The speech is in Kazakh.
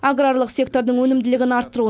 аграрлық сектордың өнімділігін арттыру